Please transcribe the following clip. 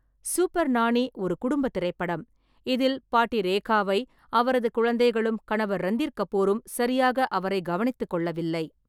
Super Nani ஒரு குடும்ப திரைப்படம். இதில் பாட்டி ரேகாவை அவரது குழந்தைகளும் கணவர் ரந்தீர் கபூரும் சரியாக அவரை கவனித்துக்கொள்ளவில்லை.